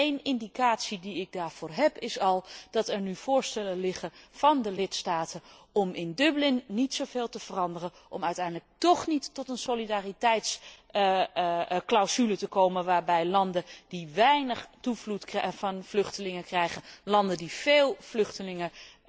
En een indicatie die ik daarvoor heb, is dat er nu voorstellen op tafel liggen van de lidstaten om in Dublin niet zoveel te veranderen, om uiteindelijk tóch niet tot een solidariteitsclausule te komen, waarbij landen die weinig vluchtelingenstromen krijgen de landen die veel vluchtelingen